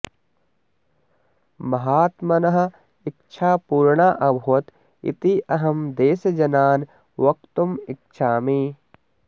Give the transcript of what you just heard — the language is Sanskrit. महात्मनः इच्छा पूर्णा अभवत् इति अहं देशजनान् वक्तुम् इच्छामि